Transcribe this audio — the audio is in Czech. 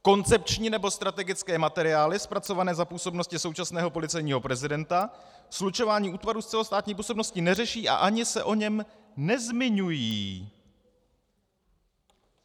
Koncepční nebo strategické materiály zpracované za působnosti současného policejního prezidenta slučování útvarů s celostátní působností neřeší a ani se o něm nezmiňují.